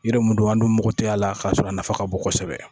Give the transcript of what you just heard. Yiri mun don an dun mɔgɔ te ye a la k'a sɔrɔ a nafa ka bon kosɛbɛ